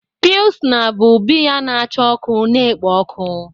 Pilsna bụ biya na-acha ọkụ na-ekpo ọkụ.